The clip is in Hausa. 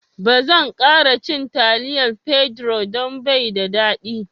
Ba zan kara cin taliyar Pedro don bai da daɗi..